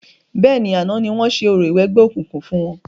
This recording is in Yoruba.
Bẹ́ẹ̀ni, àná ni wọ́n ṣe orò ìwẹgbẹ́ òkùnkùn fún wọn.